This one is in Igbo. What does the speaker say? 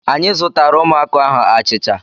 Anyị zụtaara ụmụaka ahụ achịcha.